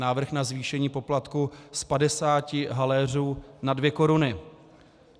Návrh na zvýšení poplatku z 50 haléřů na 2 koruny.